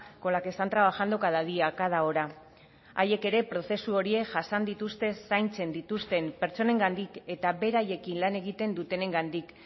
con la que están trabajando cada día cada hora haiek ere prozesu horiek jasan dituzte zaintzen dituzten pertsonengandik eta beraiekin lan egiten dutenengandik